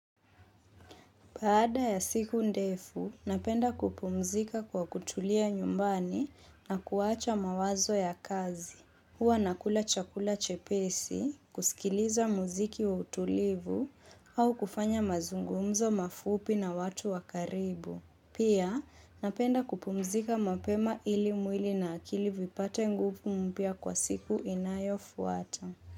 Baada ya siku ndefu, napenda kupumzika kwa kutulia nyumbani na kuwacha mawazo ya kazi. Huwa nakula chakula chepesi, kusikiliza muziki wa utulivu au kufanya mazungumzo mafupi na watu wakaribu. Pia, napenda kupumzika mapema ili mwili na akili vipate nguvu mpya kwa siku inayo fuata.